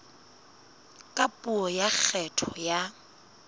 ka puo ya kgetho ya